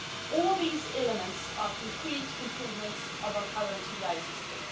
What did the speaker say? industry. All these elements are concrete improvements of our current TDI